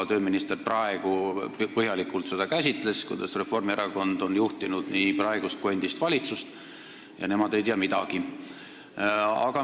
Tööminister ka praegu põhjalikult käsitles seda, kuidas Reformierakond on juhtinud nii praegust kui ka endist valitsust, ja nemad ei tea midagi.